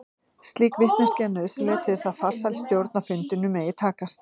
Slík vitneskja er nauðsynleg til þess að farsæl stjórn á fundinum megi takast.